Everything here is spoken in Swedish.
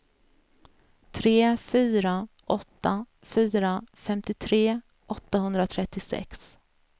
tre fyra åtta fyra femtiotre åttahundratrettiosex